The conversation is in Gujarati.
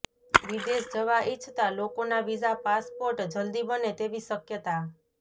વિદેશ જવા ઇચ્છતા લોકોના વીઝા પાસપોર્ટ જલ્દી બને તેવી શક્યતા